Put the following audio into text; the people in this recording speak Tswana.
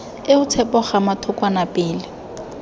eo tshepo gama thokwana pele